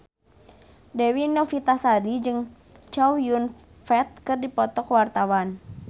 Dewi Novitasari jeung Chow Yun Fat keur dipoto ku wartawan